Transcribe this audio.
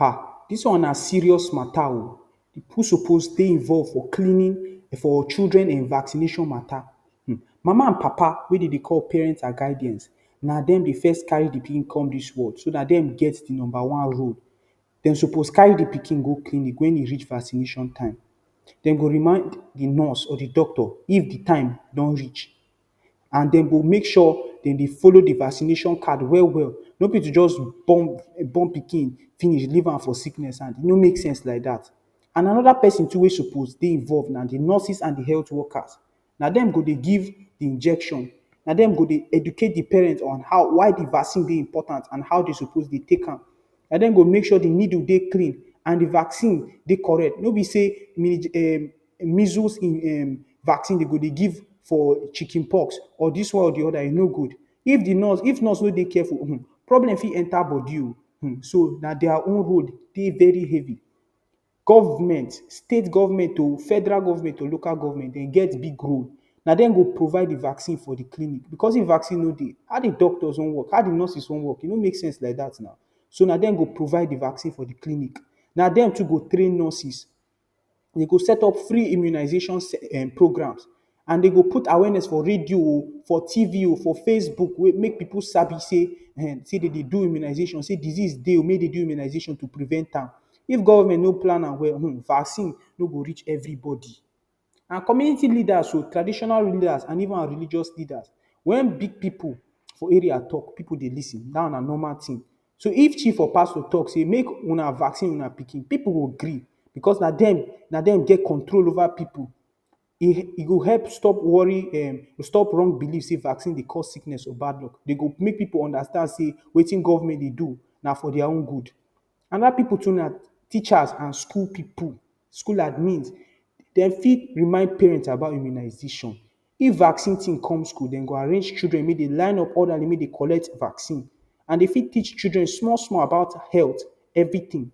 um Dis one na serious mata o, who suppose dey involved for cleaning for children vaccination mata um. Mama and Papa wey dem dey call parent and guidance na dem dey first carry de pikin come dis world so na dem get the number one role. Dem suppose carry de pikin go clinic wen e reach vaccination time, dem go remind de nurse or the doctor if de time don reach and dem go make sure dem dey follow de vaccination card well-well. No be to just born born pikin finish leave am for sickness, and e no make sense like dat. And another person too wey suppose dey involved na de nurses and de health workers, na dem go dey give injection, na dem go dey educate the parent on how, why de vaccine dey important and how dem suppose take am, na dem go make sure say de needle dey clean and the vaccine dey correct. No be say measles um vaccine dem go dey give for chicken pox, or dis one for de other e no good. If de nurse if nurse no dey careful um problem fit enter body o, um, so na their own role dey very heavy. Government, State government o, Federal government, Local government dem get big role, na dem go provide vaccine for de clinic, because if vaccine no dey how de doctors wan work, how de nurses wan work e no make sense like dat now. So na dem go provide di vaccine for de clinic, na dem too go train de nurses. Dey go set up free immunization um programmes and dem go put awareness for radio o, for tv o, for Facebook make pipul sabi sey um dem dey do immunization, sey disease dey make dem do immunization to prevent am. If government no plan am well um vaccine no go reach everybody. and community leaders o, traditional rulers and even our religious leaders when big pipul for area talk pipul dey lis ten dat one na normal thing. So if chief or pastor talk say make una vaccine una pikin pipul go gree because na dem na dem get control over the pipul. E go help stop worry um stop wrong believe say vaccine dey cause sickness or bad luck. Dey go make pipul understand say wetin government dey do na for their own good. Another pipul too na teachers and school pipul, school admins. Dem fit remind parents about immunization, if vaccine team come school dem go arrange children make dem line up orderly make dem collect vaccine. and Dem fit teach children small-small about health everything.